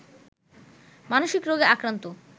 মানসিক রোগে আক্রান্ত